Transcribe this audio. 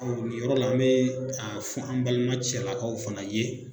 nin yɔrɔ la n bɛɛ a fɔ an balima cɛlakaw fana ye